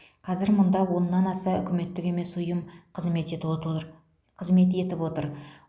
қазір мұнда оннан аса үкіметтік емес ұйым қызмет етіп отыыр қызмет етіп отыр